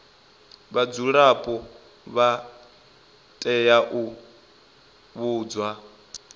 vhadzulapo vha tea u vhudzwa